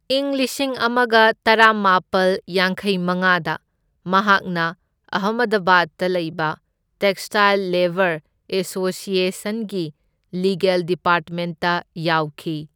ꯏꯪ ꯂꯤꯁꯤꯡ ꯑꯃꯒ ꯇꯔꯥꯃꯥꯄꯜ ꯌꯥꯡꯈꯩ ꯃꯉꯥꯗ ꯃꯍꯥꯛꯅ ꯑꯍꯃꯗꯕꯥꯗꯇ ꯂꯩꯕ ꯇꯦꯛꯁꯇꯥꯏꯜ ꯂꯦꯕꯔ ꯑꯦꯁꯣꯁꯤꯑꯦꯁꯟꯒꯤ ꯂꯤꯒꯦꯜ ꯗꯤꯄꯥꯔꯠꯃꯦꯟꯠꯇ ꯌꯥꯎꯈꯤ꯫